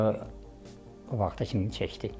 Ona görə o vaxta kimi çəkdi.